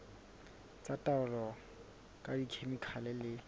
tsa taolo ka dikhemikhale le